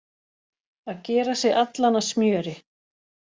Að gera sig allan að smjöri